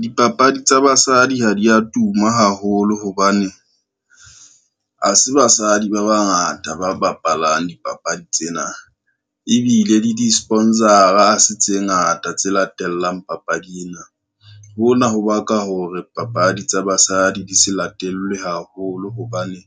Dipapadi tsa basadi ha di a tuma haholo hobane, ha se basadi ba bangata ba bapalang dipapadi tsena ebile le di-sponsor-a ha se tse ngata tse latelang papadi ena. Hona ho baka hore papadi tsa basadi di se latellwe haholo hobane